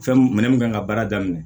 Fɛn min minɛn min kan ka baara daminɛ